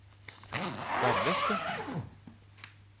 nærmeste